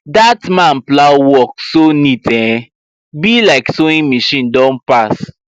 that man plow work so neat um be like sewing machine don pass